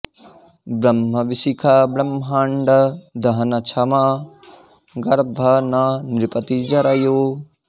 ब्रह्म बिसिख ब्रह्मांड दहन छम गर्भ न नृपति जर् यो